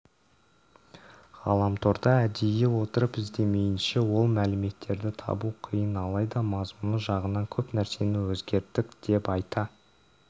ғаламторда әдейі отырып іздемейінше ол мәліметтерді табу қиын алайда мазмұны жағынан көп нәрсені өзгерттік деп айта